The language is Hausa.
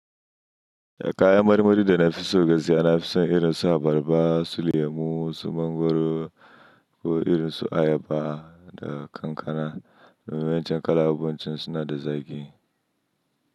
Kayan marmari da na fi so gaskiya na fi son irin su abarba, su lemu, su mangwaro ko irin su ayaba da kankana. Mai wancan kalaɓuncin suna da zaƙi.